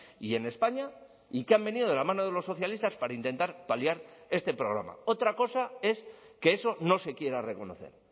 y en españa y que han venido de la mano de los socialistas para intentar paliar este problema otra cosa es que eso no se quiera reconocer